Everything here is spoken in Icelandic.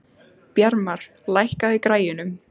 Bjarmar, lækkaðu í græjunum.